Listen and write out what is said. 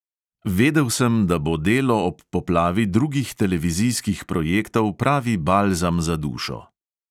Vedel sem, da bo delo ob poplavi drugih televizijskih projektov pravi balzam za dušo.